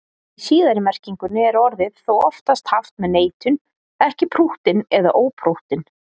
Í síðari merkingunni er orðið þó oftast haft með neitun, ekki prúttinn eða óprúttinn.